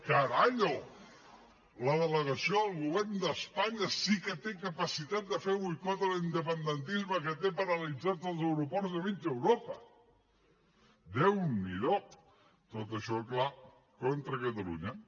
caralho la delegació del govern d’espanya sí que té capacitat de fer boicot a l’independentisme que té paralitzats els aeroports de mig europa déu n’hido tot això clar contra catalunya